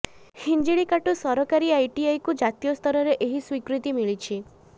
ହିଞ୍ଜିିଳିକାଟୁ ସରକାରୀ ଆଇଟିଆଇକୁ ଜାତୀୟ ସ୍ତରରେ ଏହି ସ୍ୱୀକୃତି ମିଳିଛି